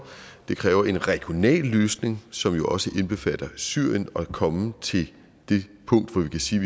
det kræver en regional løsning som jo også indbefatter syrien at komme til det punkt hvor vi kan sige